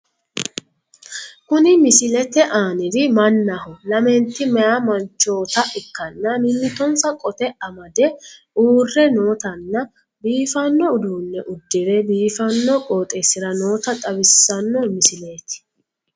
Kuni misilete aaniri mannaho lamenti meyaa manchoota ikkanna mimmitonsa qote amade uure nootanna biifanno uduunne uddire biifanno qooxeessira noota xawissawo misileeti.